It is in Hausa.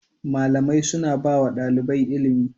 Malamai suna ba wa ɗalibai ilimi.